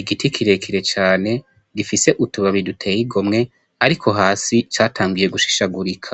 igiti kirekire cane gifise utubabi duteye igomwe, ariko hasi catangiye gushishagurika.